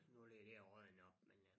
Nu ligger dér og rådner op men øh